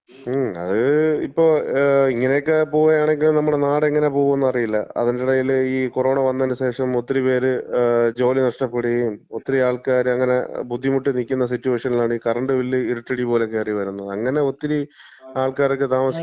മ്, അത്, ഇപ്പൊ, ഇങ്ങനെയൊക്കെ പോവാണെങ്കി, നമ്മുടെ നാട് എങ്ങനെ പോകും എന്ന് അറിയില്ല. അതിന്‍റെ എടേല് ഈ കൊറോണ വന്നേന്‍റെശേഷം ഒത്തിരി പേര് ജോലി നഷ്ടപ്പെടുകേം, ഒത്തിരി ആൾക്കാര് ബുദ്ധിമുട്ടി നിക്കുന്ന സിറ്റുവേഷനിലാണ് ഈ കറണ്ട് ബില്ല് ഇരുട്ടടി പോലെ കേറി വരുന്നത്. അങ്ങനെ ഒത്തിരി ആൾക്കാരൊക്കെ താമസിക്കുന്ന,